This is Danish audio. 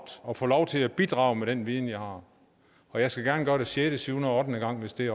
og få lov til at bidrage med den viden jeg har og jeg skal gerne gøre det sjette syvende og ottende gang hvis det